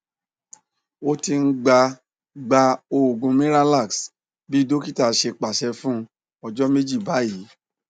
o ti n gba gba oogun miralax bi dokita ṣe paṣẹ fun ọjọ meji bayii